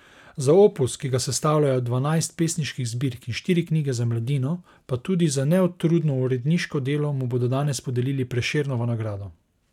Za opus, ki ga sestavljajo dvanajst pesniških zbirk in štiri knjige za mladino, pa tudi za neutrudno uredniško delo mu bodo danes podelili Prešernovo nagrado.